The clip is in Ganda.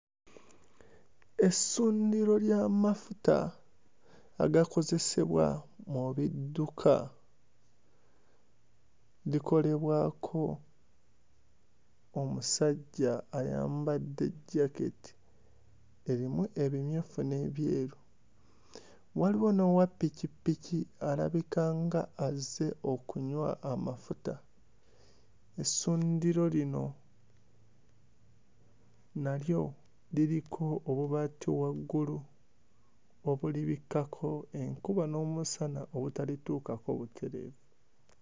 Essundiro ly'amafuta agakozesebwa mu bidduka likolebwako omusajja ayambadde jaketi erimu ebimyufu n'ebyeru, waliwo n'owappikipiki alabika nga azze okunywa amafuta. Essundiro lino nalyo liriko obubaati waggulu obulibikkako enkuba n'omusana obutalituukako butereevu.